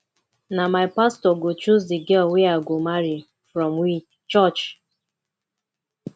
na my pastor go choose di girl wey i go marry from we church